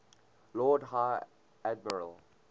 lord high admiral